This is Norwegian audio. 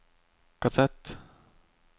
kassett